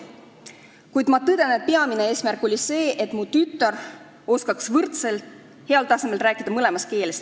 Kuid ma tõden, et peamine eesmärk oli see, et mu tütar oskaks võrdselt heal tasemel rääkida mõlemas keeles.